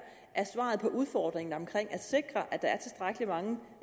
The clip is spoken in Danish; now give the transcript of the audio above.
er svaret på udfordringerne omkring at sikre at der er tilstrækkelig mange